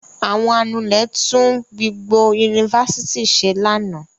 Àwọn anulẹ̀ tún vblgbo yunifásitì ṣe lánàá.